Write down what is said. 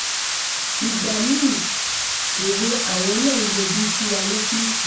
ìgbà mi-ín èwe àwọn náà ń yọjú sí wa lọ́fíìsì